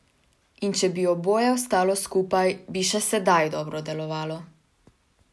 In če bi oboje ostalo skupaj, bi še sedaj dobro delovalo!